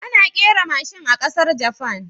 Ana kera mashin a ƙasar Japan